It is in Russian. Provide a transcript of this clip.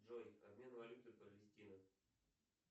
джой обмен валюты палестина